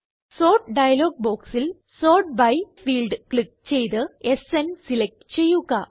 sort dialog ബോക്സിൽ sort by field click ചെയ്ത് സ്ന് സിലക്റ്റ് ചെയ്യുക